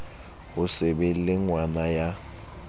ho se be lengwana ya